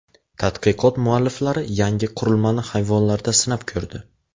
Tadqiqot mualliflari yangi qurilmani hayvonlarda sinab ko‘rdi.